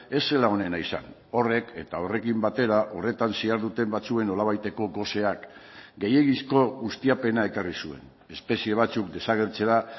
ez zela onena izan horrek eta horrekin batera horretan ziharduten batzuen nolabaiteko goseak gehiegizko ustiapena ekarri zuen espezie batzuk desagertzera